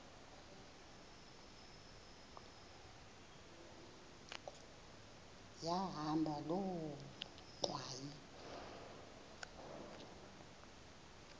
yahamba loo ngxwayi